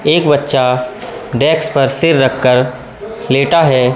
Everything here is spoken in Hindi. एक बच्चा डेस्क पर सिर रख कर लेटा है।